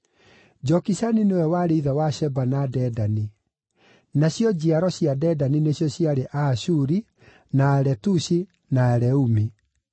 Jokishani nĩwe warĩ ithe wa Sheba na Dedani; nacio njiaro cia Dedani nĩcio ciarĩ Aashuri, na Aletushi na Aleumi.